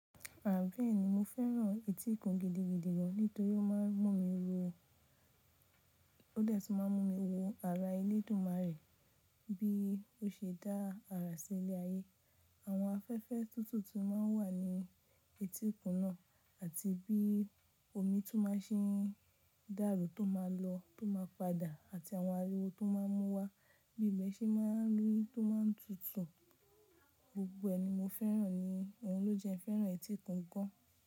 Àbe ẹ́ ni mo fẹ́ràn etíkun gidigidi gan, nítorí ó máa ń mú mi ro, ó dẹ́tù máa ń mú mi wo ara ilé dúmarè bí ó ṣe dá ara sí ilé ayé. Àwọn afẹ́fẹ́ tútù tí ó máa ń wà ní etíkun náà àti bí omi tó máa ń sì dárò tó máa lọ tó máa padà àti àwọn ariwo tó máa ń mú wa bí ìgbẹ́ sì máa ń rú tó máa ń tutù. Gbogbo ẹ́ ni mo fẹ́ràn ni òun ló jẹ ẹ́ fẹ́ràn etíkun gan.